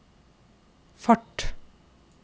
fart